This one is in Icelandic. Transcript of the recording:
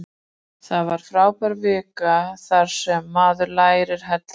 Það var frábær vika þar sem maður lærði helling.